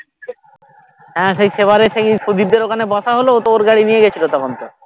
হ্যাঁ সেই সেবারে সেই প্রদীপ দের ওখানে বসা হলো ও তো ওর গাড়ি নিয়ে গেছিলো তখন তো